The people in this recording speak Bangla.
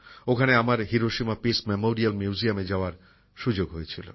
ওখানে আমার হিরোশিমা পিস মেমোরিয়াল মিউজিয়ামে যাওয়ার সুযোগ হয়েছিল